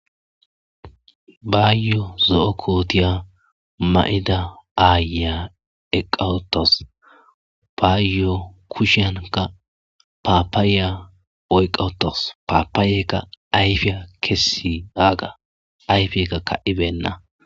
Bayo zo'o kotiya ma'da ayiya eqawutas bayo kushiyankka papaya oyqawutasu papayekka ayfiya kesidaga ayfeka ka'ibena.